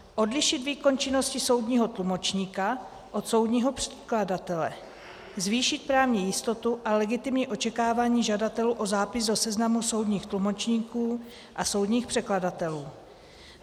Odlišit výkon činnosti soudního tlumočníka od soudního překladatele, zvýšit právní jistotu a legitimní očekávání žadatelů o zápis do seznamu soudních tlumočníků a soudních překladatelů.